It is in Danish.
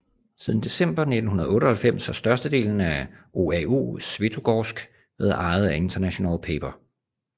Siden december 1998 har størstedelen af OAO Svetogorsk været ejet af International Paper